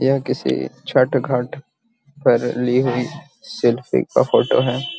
यह किसी छठ घाट पर ली हुई सेल्फी का फोटो है |